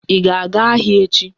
Ị ga-aga ahịa echi?